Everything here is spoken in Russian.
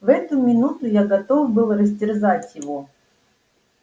в эту минуту я готов был растерзать его